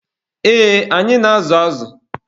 Ee, anyị na-azụ azụ.